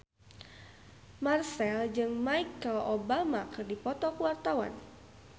Marchell jeung Michelle Obama keur dipoto ku wartawan